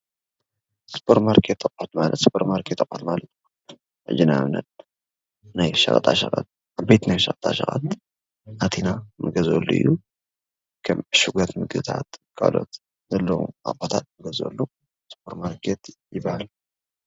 ሱፐርማርኬት ኣቑሑት ሱፐርማርኬት ኣቑሑት ማለት ሕጂ ንኣብነት ናይ ሸቐጣ ሸቐጥ ዓበይቲ ናይ ሸቐጣ ሸቐጥ ኣቲና ንገዝአሉ እዩ፡፡ ከም ዕሹጋት ምግብታት ካልኦት ዘለዉ ኣቑሑታት ንገዝአሉ ሱፐርማርኬት ይበሃል፡፡